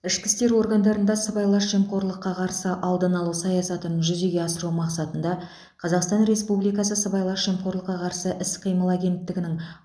ішкі істер органдарында сыбайлас жемқорлыққа қарсы алдын алу саясатын жүзеге асыру мақсатында қазақстан республикасы сыбайлас жемқорлыққа қарсы іс қимыл агенттігінің